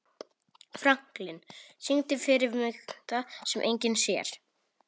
Franklin, syngdu fyrir mig „Það sem enginn sér“.